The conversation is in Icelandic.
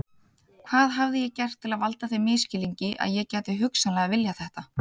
Hvað hafði ég gert til að valda þeim misskilningi að ég gæti hugsanlega viljað þetta?